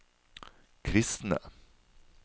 kristne